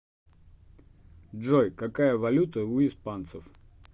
джой какая валюта у испанцев